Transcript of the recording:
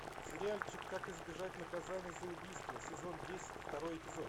сериальчик как избежать наказания за убийство сезон десять второй эпизод